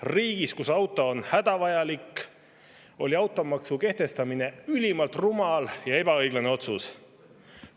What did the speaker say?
Riigis, kus auto on hädavajalik, oli automaksu kehtestamine ülimalt rumal ja ebaõiglane otsus.